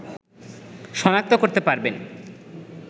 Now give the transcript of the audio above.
শনাক্ত করতে পারবেন